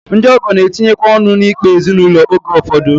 Ndị ọgọ na-etinyekwa ọnụ n'ikpe ezinụlọ oge ụfọdụ